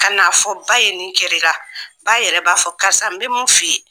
Ka na fɔ ba ye nin kɛr'i la, ba yɛrɛ b'a fɔ karisa n bɛ mun f'i ye